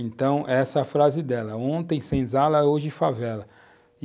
Então essa é a frase dela, ontem senzala, hoje favela.